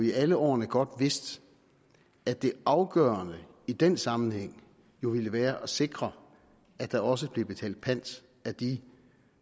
i alle årene godt vidst at det afgørende i den sammenhæng jo ville være at sikre at der også blev betalt pant af de